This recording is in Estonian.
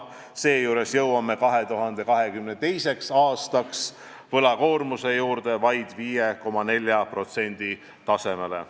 Seejuures jõuame 2022. aastaks oma võlakoormusega vaid 5,4% tasemele.